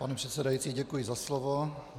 Pane předsedající, děkuji za slovo.